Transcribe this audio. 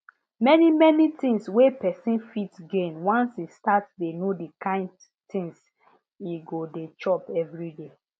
many many things wey person fit gain once e start dey know the kind things e go dey chop every day